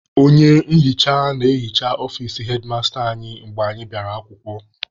Onye nhicha na-ehicha ọfici hedmasta anyị mgbe anyị bịara akwụkwọ.